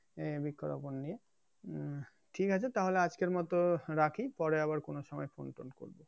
এই বৃক্ষ রোপন নিয়ে উম ঠিক আছে তাহলে আজকের মতো রাখি পরে আবার কোন সময় ফোনটোন করবো